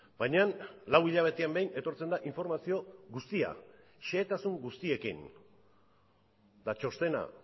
baina lau hilabetean behin etortzen da informazio guztia xehetasun guztiekin eta txostena